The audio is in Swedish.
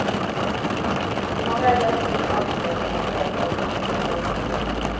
Man vädjar också till allmänheten att berätta om de sett eller hört något.